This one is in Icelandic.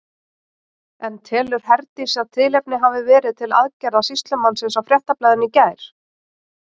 En telur Herdís að tilefni hafi verið til aðgerða sýslumannsins á Fréttablaðinu í gær?